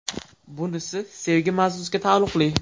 Bunisi sevgi mavzusiga taalluqli.